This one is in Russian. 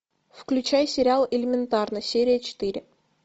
включай сериал элементарно серия четыре